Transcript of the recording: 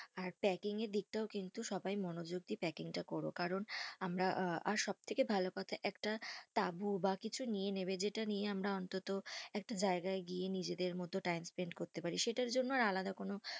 আর packing এর দিক টাও সবাই কিন্তু মনোযোগ দিয়ে packing টা করো, কারণ আমরা আঃ, সব থাকে ভালো কথা একটা তাবু বা কিছু নিয়ে নেবে, যেটা নিয়ে আমরা অন্তত একটা জায়গা গিয়ে নিজেরদের মতো time spend করতে পার, সেটার জন্য আলাদা কোনো।